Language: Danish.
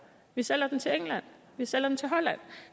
vi sælger dem til england vi sælger dem til holland